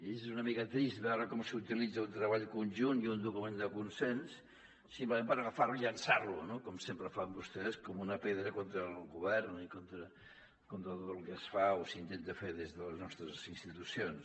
i és una mica trist veure com s’utilitza un treball conjunt i un document de consens simplement per agafar lo i llançar lo com sempre fan vostès com una pedra contra el govern i contra tot el que es fa o s’intenta fer des de les nostres institucions